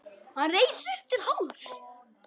Hann reis upp til hálfs.